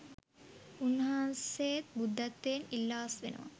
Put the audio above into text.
උන්වහන්සේත් බුද්ධත්වයෙන් ඉල්ලා අස්වෙනවා